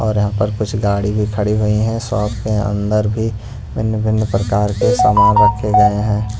और यहां पर कुछ गाड़ी भी खड़ी हुई है शॉप के अंदर भी भिन्न-भिन्न प्रकार के सामान रखे गए हैं।